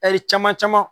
caman caman